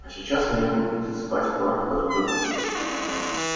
а сейчас они будут засыпать порох в эту дыру